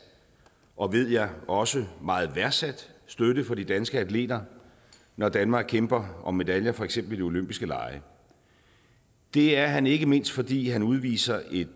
og ved jeg også meget værdsat støtte for de danske atleter når danmark kæmper om medaljer for eksempel ved de olympiske lege det er han ikke mindst fordi han udviser et